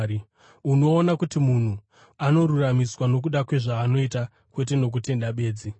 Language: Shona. Unoona kuti munhu anoruramisirwa nokuda kwezvaanoita, kwete nokutenda bedzi.